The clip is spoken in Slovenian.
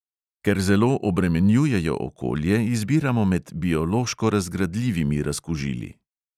Ker zelo obremenjujejo okolje, izbiramo med biološko razgradljivimi razkužili.